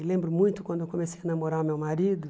E lembro muito quando eu comecei a namorar o meu marido.